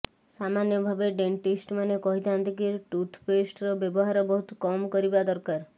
ସାମାନ୍ୟ ଭାବେ ଡେଣ୍ଟିଷ୍ଟ୍ ମାନେ କହିଥାନ୍ତି କି ଟୁଥପେଷ୍ଟର ବ୍ୟବହାର ବହୁତ୍ କମ କରିବା ଦରକାର